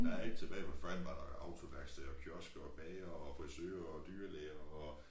Der ét tilbage forhen var der jo autoværksted og kiosker og bagere og frisører og dyrelæger og